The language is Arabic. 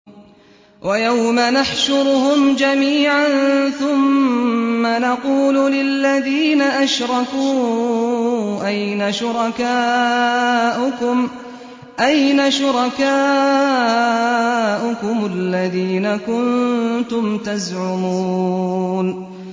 وَيَوْمَ نَحْشُرُهُمْ جَمِيعًا ثُمَّ نَقُولُ لِلَّذِينَ أَشْرَكُوا أَيْنَ شُرَكَاؤُكُمُ الَّذِينَ كُنتُمْ تَزْعُمُونَ